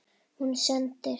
Hún sendir